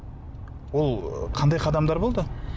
ол қандай қадамдар болды